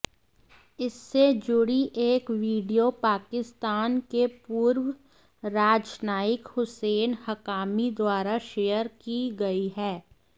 इससे जुड़ी एक वीडियो पाकिस्तान के पूर्व राजनायिक हुसैन हक्कानी द्वारा शेयर की गई है